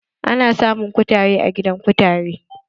Ana samun kutare a gidan kutare.